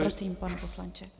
Prosím, pane poslanče.